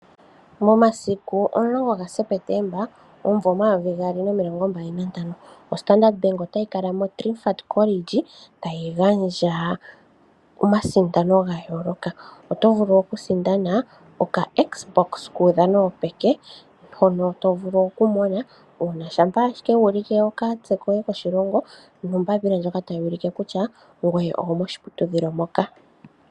Momasiku 10 Septemba 2025, oStandard Bank otayi ka kala moTrimphant College tayi gandja omasindano ga yooloka. Oto vulu okusindana okaXbox kuudhano wopeke hono vulu okumona uuna wu ulike okatse koye koshilongo nombapila ndjoka tayi ulike kutya ngoye ogo moshiputudhilo moka.